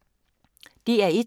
DR1